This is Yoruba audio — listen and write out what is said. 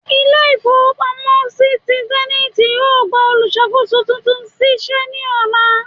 Ile ìfowo pamo si ti zenith, yọọ gba oluṣakoso túntún sí se ní olà